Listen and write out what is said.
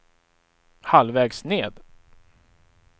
halvvägs ned